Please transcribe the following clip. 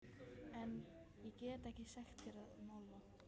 En- ég get ekkert sagt þér um álfa.